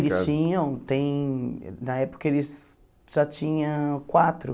Eles tinham, tem... Na época eles já tinham quatro.